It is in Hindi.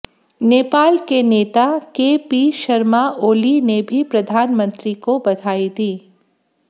नेपाल के नेता के पी शर्मा ओली ने भी प्रधानमंत्री को बधाई दी